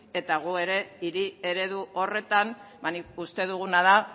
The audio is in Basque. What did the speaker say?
eta guk ere hiri eredu horretan uste duguna da